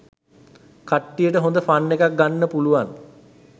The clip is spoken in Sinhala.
කට්ටියට හොඳ ෆන් එකක් ගන්න පුළුවන්